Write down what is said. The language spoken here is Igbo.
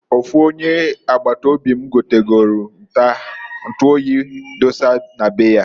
Ofu onye agbata obi m egotagori ntu oyi dosa na be ya.